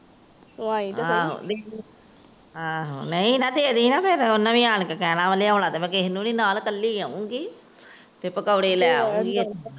ਤੂੰ ਆਇ ਤਾਂ ਸੀ। ਲਿਆਉਣਾ ਤਾਂ ਨਹੀਂ ਮੈ ਕਿਸੇ ਨੂੰ ਨਾਲ, ਕੱਲੀ ਆਉਗੀ।